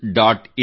in